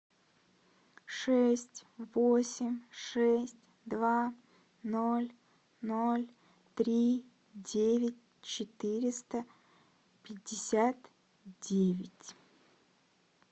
шесть восемь шесть два ноль ноль три девять четыреста пятьдесят девять